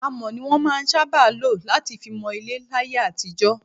Amọ̀ ni wọn máa ń sábà lọ láti fi mọ ilé láyé àtijọ́.